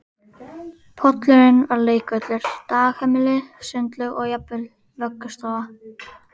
Pollurinn var leikvöllur, dagheimili, sundlaug og jafnvel vöggustofa